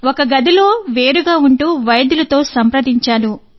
ఒక గదిలో వేరుగా ఉంటూ వైద్యులతో సంప్రదించాను